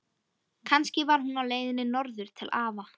Kannski var hún á leiðinni norður til afa.